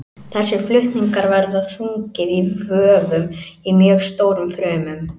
Þessir flutningar verða þungir í vöfum í mjög stórum frumum.